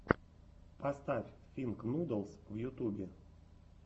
поставь финк нудлс в ютубе